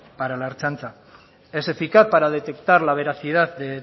para la ertzaintza es eficaz para detectar la veracidad de